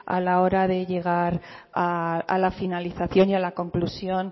a la hora de llegar a la finalización y a la conclusión